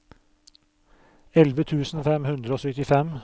elleve tusen fem hundre og syttifem